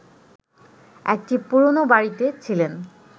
একটি পুরনো বাড়িতে ছিলেন